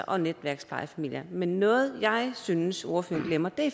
og netværksplejefamilier men noget jeg synes ordføreren glemmer